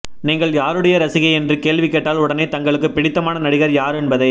நீங்கள் யாருடைய ரசிகை என்று கேள்வி கேட்டால் உடனே தங்களுக்குப் பிடித்தமான நடிகர் யார் என்பதை